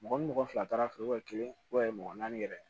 Mɔgɔ ni mɔgɔ fila taara fiyɛ mɔgɔ naani yɛrɛ